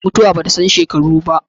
Mutuwa ba ta san shekaru ba.